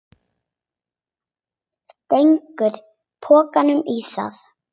Stingur pokanum í það.